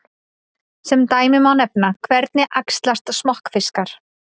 Sem dæmi má nefna: Hvernig æxlast smokkfiskar?